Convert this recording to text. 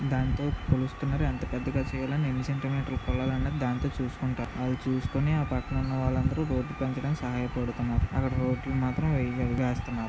దానితో కొలుస్తున్నారు. ఎంత పెద్దగా చేయాలన్న ఎన్ని సెంటీమీటర్లు కోయాలన్న దాంతో చూసుకుంటారు. అవి చూసుకొని దాన్ని పక్కన ఉన్న వాళ్ళందరూ రోడ్డు పెంచడానికి సహాయపడతున్నారు. అక్కడ రోడ్లు మాత్రం వేయలేదు వేస్తున్నారు.